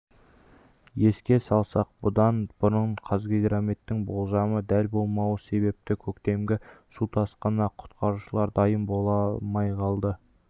еске салсақ бұдан бұрын қазгидрометтің болжамы дәл болмауы себепті көктемгі су тасқынына құтқарушылар дайын болмай қалды